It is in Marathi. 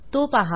तो पहा